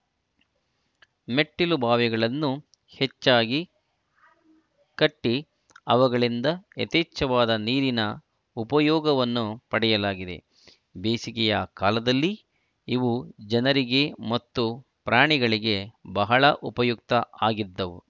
ಮೆಟ್ಟಿಲುಬಾವಿಗಳನ್ನು ಹೆಚ್ಚಾಗಿ ಕಟ್ಟಿಅವುಗಳಿಂದ ಯಥೇಚ್ಛವಾದ ನೀರಿನ ಉಪಯೋಗವನ್ನು ಪಡೆಯಲಾಗಿದೆ ಬೇಸಿಗೆಯ ಕಾಲದಲ್ಲಿ ಇವು ಜನರಿಗೆ ಮತ್ತು ಪ್ರಾಣಿಗಳಿಗೆ ಬಹಳ ಉಪಯುಕ್ತ ಆಗಿದ್ದವು